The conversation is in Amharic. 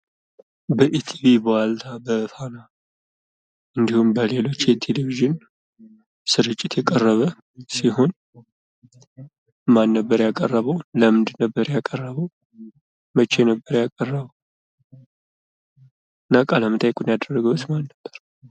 በኢቲቪ፣ በዋልታ፣ በፋና እንድሁም በሌሎች የቴሌቪዥን ስርጭቶች የቀረበ ሲሆን ማን ነበር ያቀረበው? ለምን ነበር ያቀረበው? መቼ ነበር ያቀረበው? እና ቃለመጠይቁንስ ያደረገው ማን ነበር?